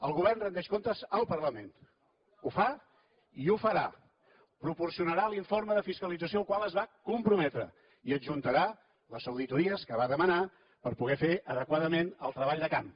el govern rendeix comptes al parlament ho fa i ho farà proporcionarà l’informe de fiscalització al qual es va comprometre i hi adjuntarà les auditories que va demanar per poder fer adequadament el treball de camp